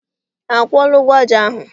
Ha kwụọla ụgwọ aja ahụ?